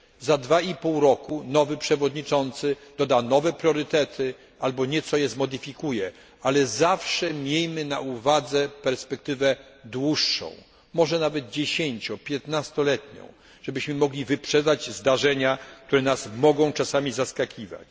Za dwa i pół roku nowy przewodniczący doda nowe priorytety, albo nieco je zmodyfikuje, ale zawsze miejmy na uwadze perspektywę dłuższą, może nawet dziesięcio piętnastoletnią, żebyśmy mogli wyprzedzać zdarzenia, które nas mogą czasami zaskakiwać.